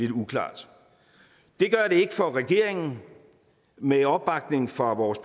uklart det gør det ikke for regeringen med opbakning fra vores